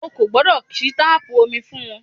O ò gbọ́dọ̀ ṣí táàpù omi fún wọn